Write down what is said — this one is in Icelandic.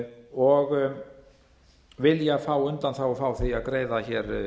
og vilja fá undanþágu frá því að greiða hér